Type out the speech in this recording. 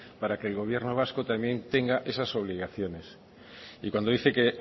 para que el gobierno vasco también tenga esas obligaciones y cuando dice que